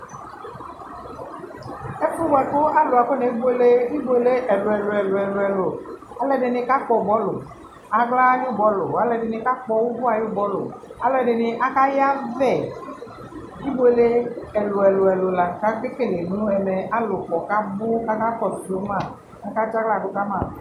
Ɛfʋɛ bʋakʋ alʋ afo nebʋele ɩbʋele ɛlʋɛlʋɛlʋɛlʋ alʋɛdɩnɩ kakpɔ bɔlʋ aɣla ayʋ bɔlʋ alʋɛdɩnɩ kakpɔ ʋvʋ ayʋ bɔlʋ alʋɛdɩnɩ akayavɛ ɩbʋele ɛlʋɛlʋ la kakele nɛmɛ alʋ kɔ kabʋ kakakɔsʋ ma katsa aɣladʋ kama